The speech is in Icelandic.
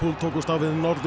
tókust á við Norður